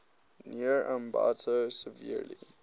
near ambato severely